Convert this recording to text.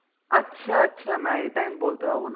আচ্ছা আচ্ছা না এটা আমি বলতে পারবনা